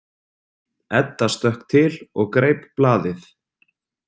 Edda stökk til og greip blaðið.